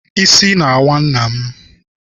Isi na-awa nna m.